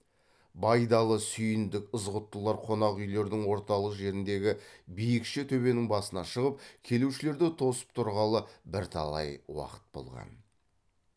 байдалы сүйіндік ызғұттылар қонақ үйлердің орталық жеріндегі биікше төбенің басына шығып келушілерді тосып тұрғалы бірталай уақыт болған